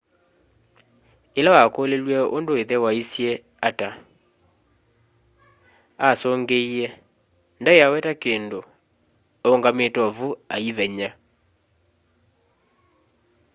ĩla wakũlilw'eũndũ ĩthe waisye ata asũngĩĩe ndaĩaweta kĩndũ-aũngamĩte ovũ aĩvenya